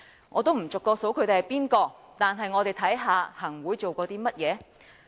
我不逐個點名，但我們看看行會做過甚麼。